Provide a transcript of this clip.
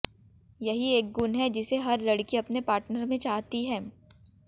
यही एक गुण है जिसे हर लड़की अपने पार्टनर में चाहती है